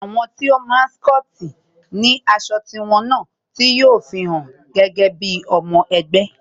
Àwọn tí wón máa n scoti ni aṣọ tí wón náà, tí yo fi won gẹ́gẹ́ bí ọmọ ẹgbẹ́